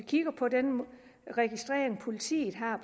kigger på den registrering politiet har